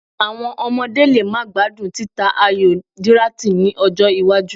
Àwọn ọmọdé lè má gbádùn títa ayò díráàtì ní ọjọ́-iwájú.